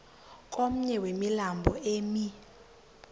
komnye wemilambo emi